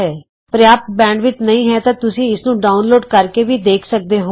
ਜੇ ਤੁਹਾਡੇ ਪ੍ਰਯਾਪ੍ਤ ਬੈਂਡਵਿੱਥ ਨਹੀਂ ਹੈ ਤਾਂ ਤੁਸੀਂ ਇਸ ਨੂੰ ਡਾਊਨਲੋਡ ਕਰਕੇ ਵੀ ਦੇਖ ਸਕਦੇ ਹੋ